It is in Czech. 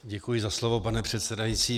Děkuji za slovo, pane předsedající.